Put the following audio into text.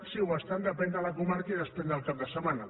sí ho estan depèn de la comarca i depèn del cap de setmana